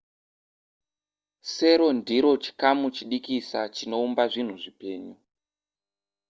sero ndiro chikamu chidikisa chinoumba zvinhu zvipenyu